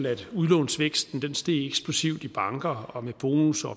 at udlånsvæksten steg eksplosivt i banker med bonusser